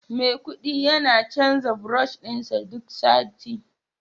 Maikudi yana canza brush din sa duk sati